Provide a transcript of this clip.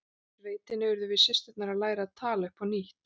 Í sveitinni urðum við systurnar að læra að tala upp á nýtt.